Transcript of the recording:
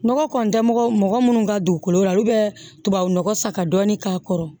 Nɔgɔ kɔntɛ mɔgɔ mɔgɔ munnu ka dugukolo la olu bɛ tubabu nɔgɔ sa ka dɔɔni k'a kɔrɔ